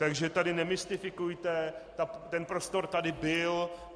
Takže tady nemystifikujte, ten prostor tady byl.